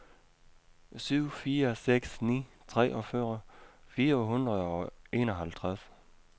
syv fire seks ni treogfyrre fire hundrede og enoghalvtreds